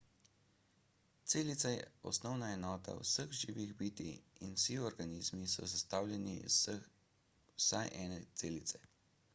celica je osnovna enota vseh živih bitij in vsi organizmi so sestavljeni iz vsaj ene celice